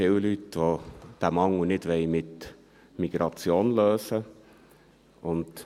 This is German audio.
Es gibt hier viele Leute, die diesen Mangel nicht mit Migration lösen wollen.